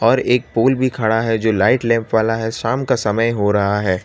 और एक पोल भी खड़ा है जो लाइट लैंप वाला है शाम का समय हो रहा है।